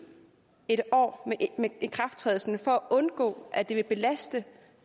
ikrafttrædelsen for at undgå at det vil belaste